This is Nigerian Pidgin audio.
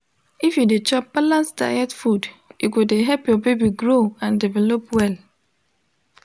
if you de chop balanced diet food e go de help ur baby grow and develop well